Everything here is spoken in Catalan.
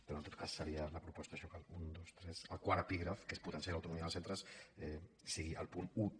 però en tot cas seria la proposta això que el un dos tres quart epígraf que és potenciar l’autonomia dels centres sigui el punt dotze